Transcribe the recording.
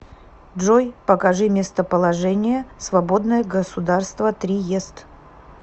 джой покажи местоположение свободное государство триест